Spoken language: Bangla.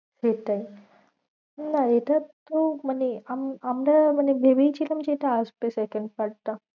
সেটাই না এটার তো মানে আম~ আমরা মানে ভেবেই ছিলাম যে আসবে second part টা।